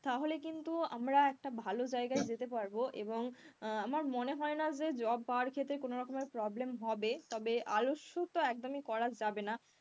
তাহলে কিন্তু আমরা একটা ভালো জায়গায় যেতে পারবো এবং আমার মনে হয়না যে job পাওয়ার ক্ষেত্রে কোন রকমের problem হবে তবে আলস্য তো একদমই করা যাবে না,